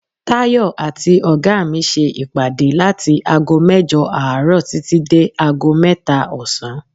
Tayọ àti oga mi ṣe ìpàdé láti ago mẹ́jọ àárọ̀ títí dé ago mẹ́ta ọ̀sán.